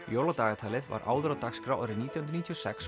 jóladagatalið var áður á dagskrá árið nítján hundruð níutíu og sex